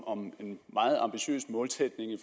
om en meget ambitiøs målsætning i